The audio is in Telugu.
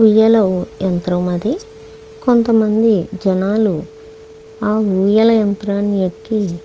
ఊయల యంత్రం అది. కొంతమంది జనాలు ఆ ఊయల యంత్రాన్ని ఎక్కి--